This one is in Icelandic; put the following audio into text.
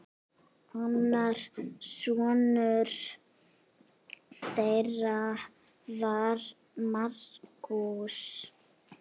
Annar sonur þeirra var Markús.